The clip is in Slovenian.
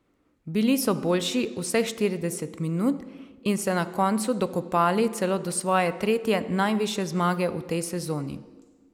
Bili so boljši vseh štirideset minut in se na koncu dokopali celo do svoje tretje najvišje zmage v tej sezoni.